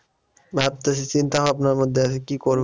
ভাবতেছি চিন্তা ভাবনার মধ্যে আছি কি করব।